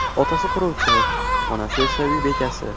Otasi quruvchi, onasi esa uy bekasi.